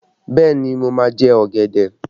Bẹẹ ni, mo máa jẹ ọ̀gẹ̀dẹ̀